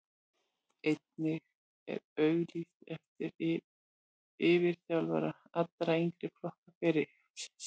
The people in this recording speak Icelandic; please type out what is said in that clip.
Einnig er auglýst eftir yfirþjálfara allra yngri flokka félagsins.